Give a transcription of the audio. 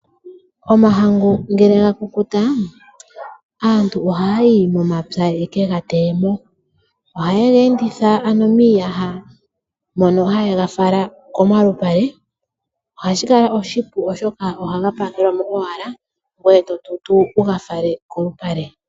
Omahangu ngele gakukuta aantu ohaya yi momapya yekega teyemo. Ohaye ge enditha ano miiyaha mono hayega fala komalupale . Ohashi kala oshipu oshoka ohaga pakelwa mo owala, ngoye totutu wuga fale kolupale.